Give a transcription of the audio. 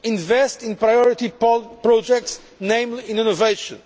invest in priority projects, namely in innovation